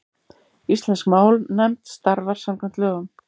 Íslensk málnefnd starfar samkvæmt lögum.